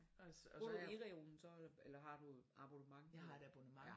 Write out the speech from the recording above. Bruger du eReloen så eller har du et abonnement på